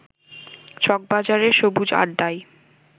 চকবাজারের সবুজ আড্ডায়